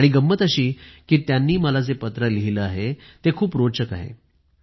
आणि गम्मत अशी कि त्यांनी मला जे पत्रं लिहिलं आहे ते खूप रोचक आहे